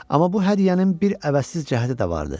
Amma bu hədiyyənin bir əvəzsiz cəhəti də vardı.